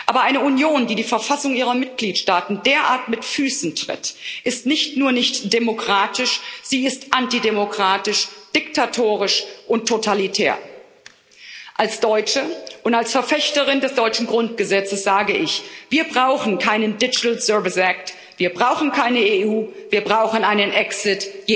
Aber eine Union, die die Verfassung ihrer Mitgliedsstaaten derart mit Füßen tritt, ist nicht nur nicht demokratisch, sie ist antidemokratisch, diktatorisch und totalitär. Als Deutsche und als Verfechterin des deutschen Grundgesetzes sage ich Wir brauchen keinen Digital Services Act wir brauchen keine EU, wir brauchen einen Exit.